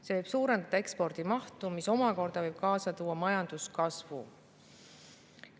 See võib suurendada ekspordi mahtu, mis omakorda võib kaasa tuua majanduskasvu.